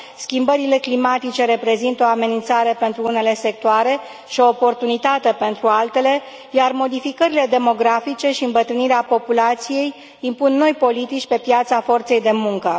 Schimbările climatice reprezintă o amenințare pentru unele sectoare și o oportunitate pentru altele, iar modificările demografice și îmbătrânirea populației impun noi politici pe piața forței de muncă.